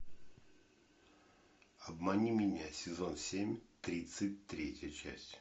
обмани меня сезон семь тридцать третья часть